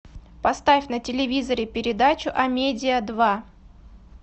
поставь на телевизоре передачу амедиа два